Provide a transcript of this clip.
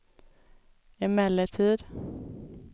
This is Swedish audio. emellertid